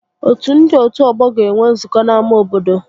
Otu ndị otu ọgbọ ga-enwe nzukọ n'ámá obodo